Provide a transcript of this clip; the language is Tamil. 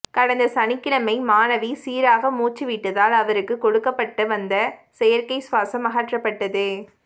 கடந்த சனிக்கிழமை மாணவி சீராக மூச்சு விட்டதால் அவருக்கு கொடுக்கப்பட்டு வந்த செயற்கை சுவாசம் அகற்றப்பட்டது